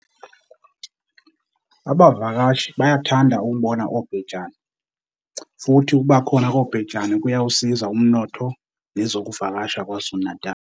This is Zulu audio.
Abavakashi bayathanda ukubona obhejane, futhi ukubakhona kobhejane kuyawusiza umnotho nezokuvakasha kwaZulu-Natal.